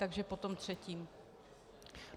Takže po tom třetím.